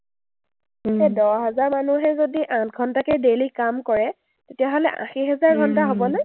সেই দহ হাজাৰ মানুহে যদি আঠ ঘণ্টাকে daily কাম কৰে, তেতিয়াহ’লে আশী হাজাৰ ঘণ্টা হ’বনে?